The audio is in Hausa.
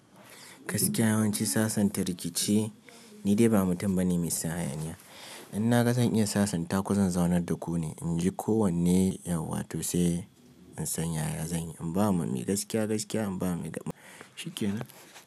Gaskiya yawanci sasanta rikici ni dai ba mutum bane mai son hayaniya. In na ga zan iya sasanta ku zan zaunar da ku ne. In ji kowanne yauwato sai in san yaya zan yi. In ba ma mai gaskiya gaskiya in ba ma mai shikena.